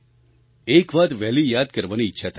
એક વાત વહેલી યાદ કરાવવાની ઈચ્છા થાય છે